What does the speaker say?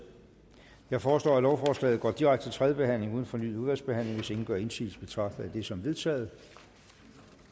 jeg foreslår at lovforslaget går direkte til tredje behandling uden fornyet udvalgsbehandling hvis ingen gør indsigelse betragter jeg det som vedtaget